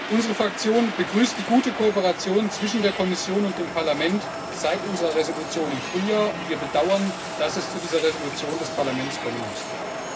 Unsere Fraktion begrüßt die gute Kooperation zwischen der Kommission und dem Parlament seit unserer Entschließung im Frühjahr, und wir bedauern, dass es zu dieser Entschließung des Parlaments kommen musste.